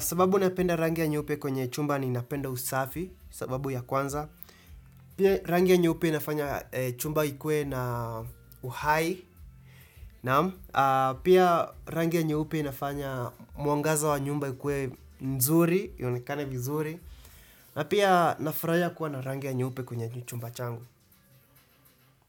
Sababu napenda rangi ya nyeupe kwenye chumba ni napenda usafi, sababu ya kwanza. Pia rangi ya nyeupe inafanya chumba ikuwe na uhai, naam. Pia rangi ya nyeupe inafanya mwangaza wa nyumba yikuwe nzuri, ionekane vizuri. Na pia nafurahia kuwa na rangi ya nyeupe kwenye chumba changu.